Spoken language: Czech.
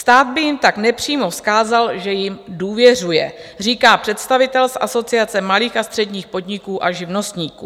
Stát by jim tak nepřímo vzkázal, že jim důvěřuje, říká představitel z Asociace malých a středních podniků a živnostníků.